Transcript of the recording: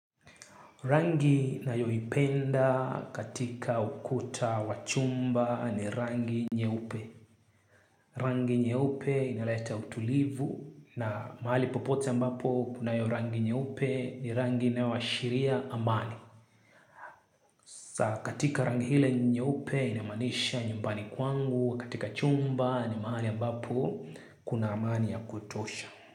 Rangi nayoy ipenda katika ukuta wachumba ni rangi nyeupe. Rangi nyeupe inaleta utulivu na mahali popote ambapo kunayo rangi nyeupe ni rangi inao ashiria amani. Sa katika rangi hile nyeupe inamanisha nyumbani kwangu katika chumba ni mahali ambapo kuna amani ya kutosha.